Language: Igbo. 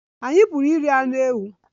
Anyị Pụrụ iri anụ ewu